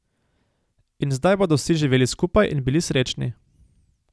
In zdaj bodo vsi živeli skupaj in bili srečni.